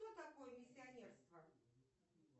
что такое миссионерство